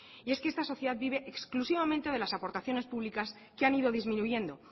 y es que esta sociedad vive exclusivamente de las aportaciones públicas que han ido disminuyendo